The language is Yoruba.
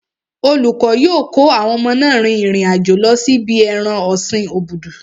Olùkọ́ yóò kó àwọn ọmọ náà rin ìrìn àjò lọ sí ibi ẹran ọ̀sin obudu.